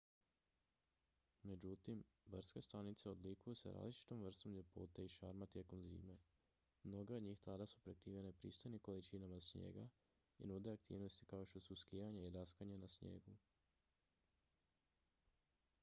međutim brdske stanice odlikuju se različitom vrstom ljepote i šarma tijekom zime mnoge od njih tada su prekrivene pristojnim količinama snijega i nude aktivnosti kao što su skijanje i daskanje na snijegu